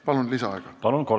Palun lisaaega!